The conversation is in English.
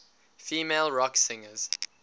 female rock singers